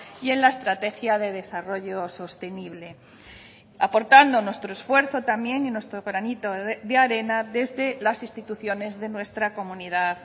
y en la estrategia de desarrollo sostenible aportando nuestro esfuerzo también y nuestro granito de arena desde las instituciones de nuestra comunidad